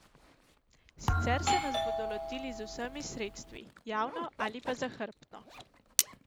Sicer se nas bodo lotili z vsemi sredstvi, javno ali pa zahrbtno.